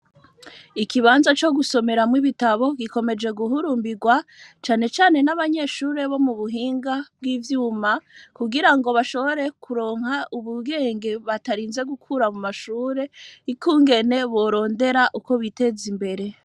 Ikibanza co gusomerwamwo ibitabo gikomeje guhurumbirwa cane cane n'abanyeshuri bo mu buhinga bw'ivyuma ku girango bashobore kuronka ubwenge batarinze gukura mu mashure ukungene borondera uko biteza imbere.